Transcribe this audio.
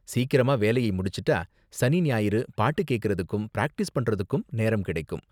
சீக்கிரமா வேலையை முடிச்சுட்டா சனி ஞாயிறு பாட்டு கேக்கறதுக்கும் பிராக்டிஸ் பண்றதுக்கும் நேரம் கிடைக்கும்.